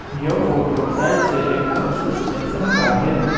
यह फोटो शायद से एक बस स्टेशन का है।